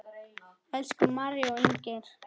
Elsku María og Inger.